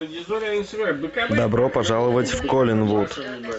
добро пожаловать в коллинвуд